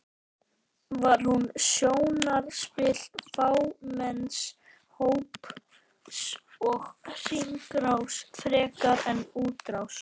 Var hún sjónarspil fámenns hóps og hringrás frekar en útrás?